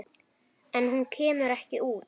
En hún kemur ekki út.